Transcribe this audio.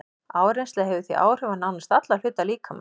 Áreynsla hefur því áhrif á nánast alla hluta líkamans.